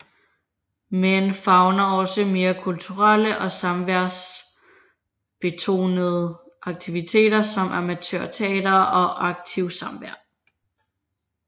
Men favner også mere kulturelle og samværsbetonede aktiviteter som amatørteater og aktiv samvær